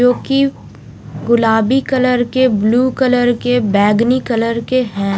जो की गुलाबी कलर के ब्लू कलर के बैगनी कलर के है।